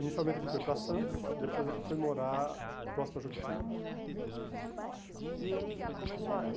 Inicialmente ele foi para Santos, depois ele foi morar próximo a Juctiba. E ele começou a